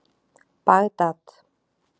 Bagdad